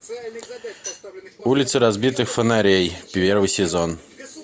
улицы разбитых фонарей первый сезон